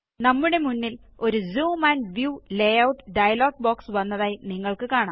നമ്മുടെ മുന്നിൽഒരു zoom and view layout dialogue box വന്നതായി നിങ്ങള്ക്ക് കാണാം